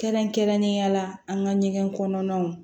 Kɛrɛnkɛrɛnnenya la an ka ɲɛgɛn kɔnɔnaw